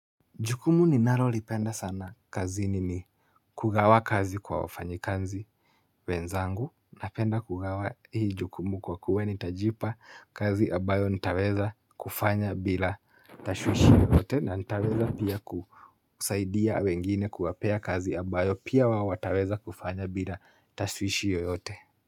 Jukumu ninalo lipenda sana kazini ni kugawa kazi kwa wafanyikazi wenzangu napenda kugawa hii jukumu kwa kuwa nitajipa kazi ambayo nitaweza kufanya bila tashwishi yoyote na nitaweza pia kusaidia wengine kuwapea kazi ambayo pia wao wataweza kufanya bila tashwishi yoyote.